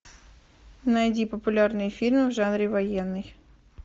найди популярные фильмы в жанре военный